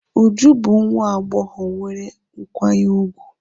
Uju bu nwa agbogho nwere nkwanye ugwu.